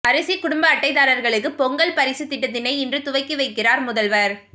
அரிசி குடும்ப அட்டைதாரர்களுக்கு பொங்கல் பரிசு திட்டத்தை இன்று துவக்கி வைக்கிறார் முதல்வர்